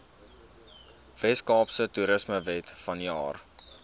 weskaapse toerismewet vanjaar